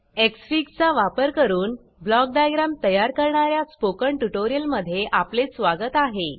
Xfig चा वापर करून ब्लॉक डायग्राम तयार करणार्या स्पोकन ट्युटोरियल मध्ये आपले स्वागत आहे